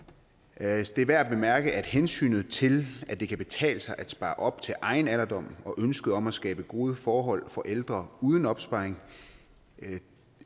alt det er værd at bemærke at hensynet til at det kan betale sig at spare op til egen alderdom og ønsket om at skabe gode forhold for ældre uden opsparing ikke